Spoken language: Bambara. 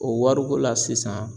O wari ko la sisan